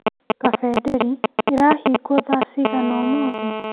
Kabe Ndeli ĩrahingwo thaa cigana ũmũthĩ ?